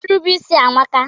Irube isi amaka.